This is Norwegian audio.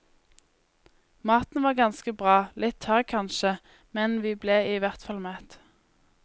Maten var ganske bra, litt tørr kanskje, men vi ble i hvertfall mett.